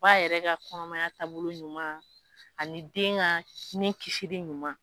Ba yɛrɛ ka kɔnɔmaya taabolo ɲuman ani den ka sinin kisili ɲuman.